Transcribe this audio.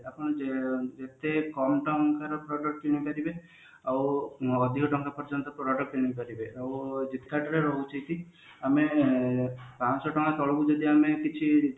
ଆପଣ ଯେତେ କମ ଟଙ୍କାର product ନେଇ ପାରିବେ ଆଉ ଅଧିକ ଟଙ୍କା ପର୍ଯ୍ୟନ୍ତ product କିଣିପାରିବେ ଆଉ ରେ ରହୁଛି କି ଆମେ ପଞ୍ଚାଶହ ଟଙ୍କା ତଳକୁ ଯଦି ଆମେ କିଛି